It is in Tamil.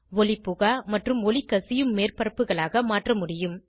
ஒளி புகா அல்லது ஒளிகசியும் மேற்பரப்புகளாக மாற்ற முடியும்